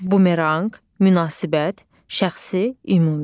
Bumeranq, münasibət, şəxsi, ümumi.